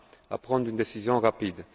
à prendre une décision rapide.